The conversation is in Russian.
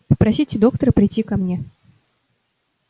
попросите доктора прийти ко мне